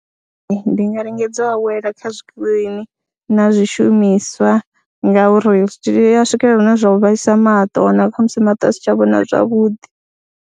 Ndi nga lingedza u awela kha zwikirini na zwishumiswa ngauri zwiṱitshi ya swikelela hune zwa u vhaisa maṱo, wa wanala kha musi maṱo a si tsha vhona zwavhuḓi.